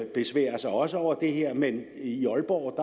besværer sig over det her man i aalborg